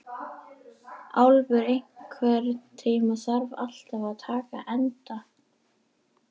Álfur, einhvern tímann þarf allt að taka enda.